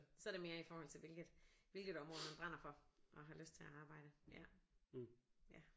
Så er der mere i forhold til hvilket hvilket område man brænder for og har lyst til at arbejde ja ja